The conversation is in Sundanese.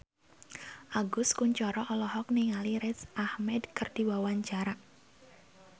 Agus Kuncoro olohok ningali Riz Ahmed keur diwawancara